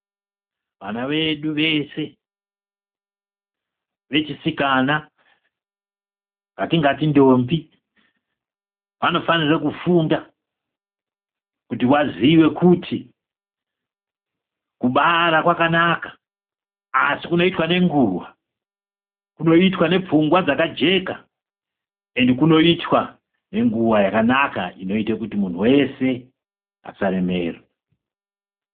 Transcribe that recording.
Vana vedu vese vechisikana, vatingati ndombi ,vanofanira kufunda ,kuti vaziye kuti kubara kwakanaka, asi kunoitwa nenguva kunoitwa ,kunoitwa nepfungwa dzakajeka, ende kunoitwa nenguva yakanaka inoita kuti munhu wese asa remerwa.